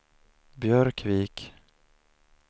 Björkvik